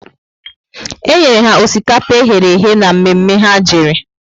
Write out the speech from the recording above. E nyere ha osikapa eherehe ná mme mme ha jere